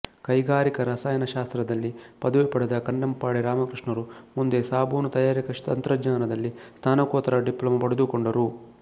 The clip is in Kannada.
ಕೈಗಾರಿಕಾ ರಸಾಯನ ಶಾಸ್ತ್ರದಲ್ಲಿ ಪದವಿ ಪಡೆದ ಕನ್ನೆಪ್ಪಾಡಿ ರಾಮಕೃಷ್ಣರು ಮುಂದೆ ಸಾಬೂನು ತಯಾರಿಕಾ ತಂತ್ರಜ್ಞಾನದಲ್ಲಿ ಸ್ನಾತಕೋತ್ತರ ಡಿಪ್ಲೋಮಾ ಪಡೆದುಕೊಂಡರು